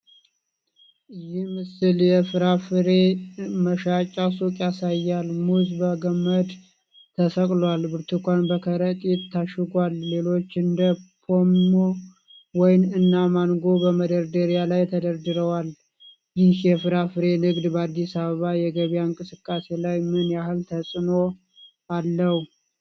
ይህ ምስል የፍራፍሬ መሸጫ ሱቅ ያሳያል። ሙዝ በገመድ ተሰቅሏል፣ ብርቱካን በከረጢት ታሽጓል፣ ሌሎችም እንደ ፖም፣ ወይን እና ማንጎ በመደርደሪያ ላይ ተደርድረዋል። ይህ የፍራፍሬ ንግድ በአዲስ አበባ የገበያ እንቅስቃሴ ላይ ምን ያህል ተፅእኖ አለው?